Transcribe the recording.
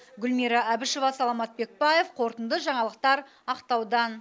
гүлмира әбішева саламат бекбаев қорытынды жаңалықтар ақтаудан